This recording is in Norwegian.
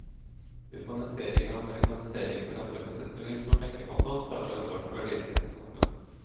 Urbanisering og amerikanisering forandrer på sett og vis vår tenkemåte og antagelig også vårt verdisyn. punktum